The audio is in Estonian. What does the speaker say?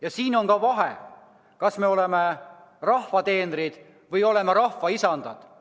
Ja siin on ka vahe, kas me oleme rahva teenrid või oleme rahva isandad.